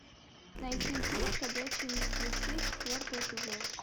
найти фильм ходячие мертвецы четвертый эпизод